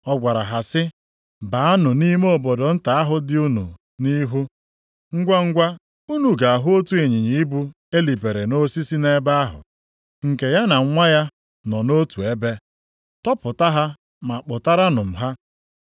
Ọ gwara ha sị, “Baanụ nʼime obodo nta ahụ dị unu nʼihu, ngwangwa unu ga-ahụ otu ịnyịnya ibu elibere nʼosisi nʼebe ahụ, nke ya na nwa ya nọ nʼotu ebe. Tọpụta ha ma kpụtaranụ m ha.